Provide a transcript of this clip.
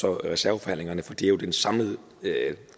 og reserveforhandlingerne for de er jo den samlede